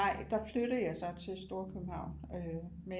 Nej der flyttede jeg så til storkøbenhavn øh men